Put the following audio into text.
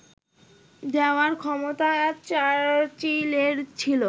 দেওয়ার ক্ষমতা চার্চিলের ছিল